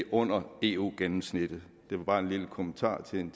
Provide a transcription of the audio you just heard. under eu gennemsnittet det var bare en lille kommentar til en